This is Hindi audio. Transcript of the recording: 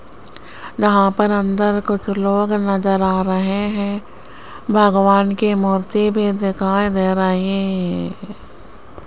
यहां पर अंदर कुछ लोग नजर आ रहे हैं भगवान की मूर्ति भी दिखाई दे रही --